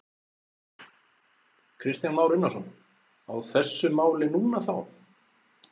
Kristján Már Unnarsson: Á þessu máli núna þá?